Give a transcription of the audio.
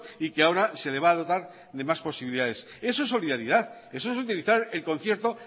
y que ahora se le va a dotar de más posibilidades eso es solidaridad eso es utilizar el concierto